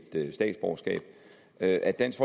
statsborgerskab at at dansk